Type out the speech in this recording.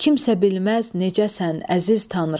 Kimsə bilməz necəsən, əziz Tanrı.